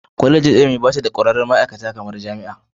Kwallejin ilimi bata da kwararrin ma'aikata kamar na Jami'a.